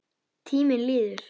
Tíminn líður.